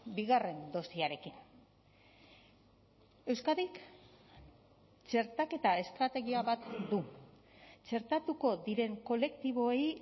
bigarren dosiarekin euskadik txertaketa estrategia bat du txertatuko diren kolektiboei